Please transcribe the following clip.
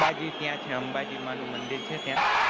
અંબાજી ત્યાં છે અંબાજી માં નું મંદિર છે ત્યાં